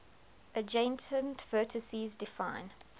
adjacent vertices define